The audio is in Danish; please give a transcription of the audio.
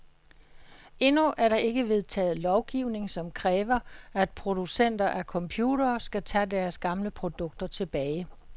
Endnu er der ikke vedtaget lovgivning, som kræver, at producenter af computere skal tage deres gamle produkter tilbage.